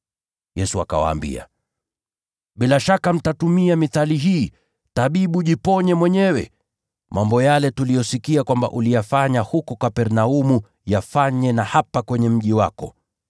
Yesu akawaambia, “Bila shaka mtatumia mithali hii: ‘Tabibu, jiponye mwenyewe! Mambo yale tuliyosikia kwamba uliyafanya huko Kapernaumu, yafanye na hapa kwenye mji wako.’ ”